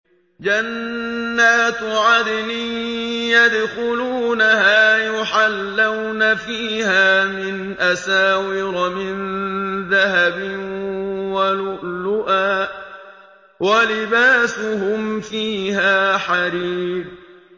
جَنَّاتُ عَدْنٍ يَدْخُلُونَهَا يُحَلَّوْنَ فِيهَا مِنْ أَسَاوِرَ مِن ذَهَبٍ وَلُؤْلُؤًا ۖ وَلِبَاسُهُمْ فِيهَا حَرِيرٌ